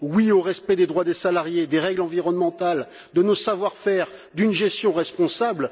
Oui au respect des droits des salariés et des règles environnementales, de nos savoir faire et d'une gestion responsable.